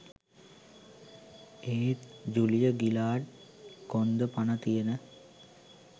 එත් Julia Gillard කොන්ද පන තියෙන